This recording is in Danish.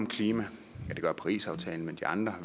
om klima det gør parisaftalen men de andre